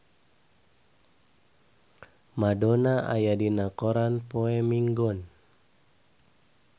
Madonna aya dina koran poe Minggon